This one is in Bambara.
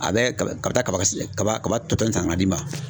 A be kaba kaba kaba kaba kaba tɔ san ka na d'i ma.